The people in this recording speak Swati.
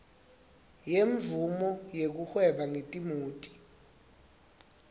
yemvumo yekuhweba ngetimoti